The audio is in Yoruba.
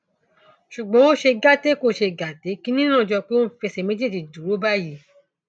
ṣùgbọn ó ṣe gàtè kó ṣe gàtè kinní náà jọ pé ó ń fi ẹsẹ méjèèjì dúró báyìí o